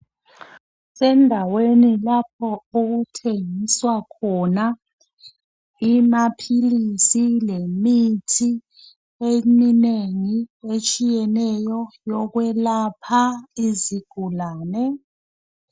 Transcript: Kusendaweni lapho okuthengiswa khona amaphilisi lemithi eminengi etshiyeneyo yokwelapha izigulane.